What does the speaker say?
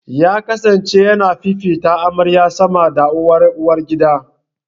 Ya kasance ya na fifita amaryar sama da uwar uwargidan.